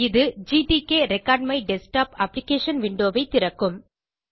இது gtk record my desktop application window ஐ திறக்கும்